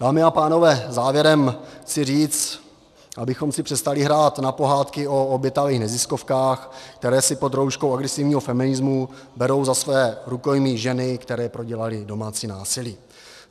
Dámy a pánové, závěrem chci říct, abychom si přestali hrát na pohádky o obětavých neziskovkách, které si pod rouškou agresivního feminismu berou za své rukojmí ženy, které prodělaly domácí násilí.